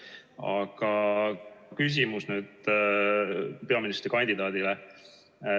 Aga nüüd küsimus peaministrikandidaadile.